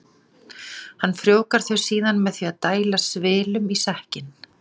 Hann frjóvgar þau síðan með því að dæla svilum í sekkinn.